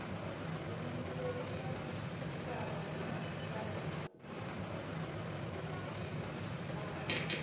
muimeli wa tshitshavha wa shango ḽavho